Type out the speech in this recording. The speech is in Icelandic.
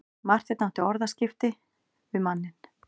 Marteinn átti orðaskipti við manninn.